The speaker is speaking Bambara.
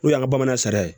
N'o y'an ka bamanan sari ye